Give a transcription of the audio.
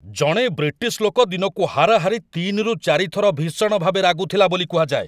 ଜଣେ ବ୍ରିଟିଶ୍‌ ଲୋକ ଦିନକୁ ହାରାହାରି ୩ ରୁ ୪ ଥର ଭୀଷଣ ଭାବେ ରାଗୁଥିଲା ବୋଲି କୁହାଯାଏ।